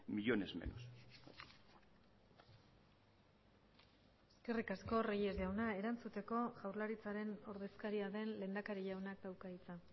millónes menos eskerrik asko reyes jauna erantzuteko jaurlaritzaren ordezkaria den lehendakari jaunak dauka hitza